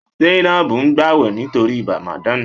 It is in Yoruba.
Zainab n gbàwẹ̀ nítorí Ramadan